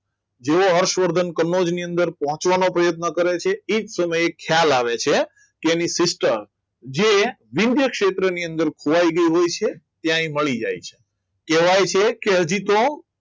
જુઓ હર્ષવર્ધન કનોજ ની અંદર પહોંચવાનો પ્રયત્ન કરે છે એ જ સમયે ખ્યાલ આવે છે કે એની sister જે ક્ષેત્રની અંદર ખોવાઈ ગઈ હોય છે ત્યાં એ મળી જાય છે કહેવાય છે કે હજી તો